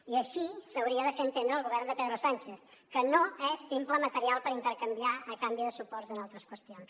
i així s’hauria de fer entendre al govern de pedro sánchez que no és simple material per intercanviar a canvi de suports en altres qüestions